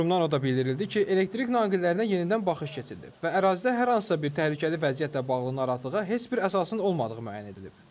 Qurumdan o da bildirildi ki, elektrik naqillərinə yenidən baxış keçirilib və ərazidə hər hansısa bir təhlükəli vəziyyətlə bağlı narahatlığa heç bir əsasın olmadığı müəyyən edilib.